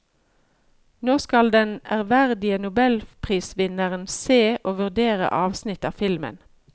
Nå skal den ærverdige nobelprisvinneren se og vurdere avsnitt av filmen.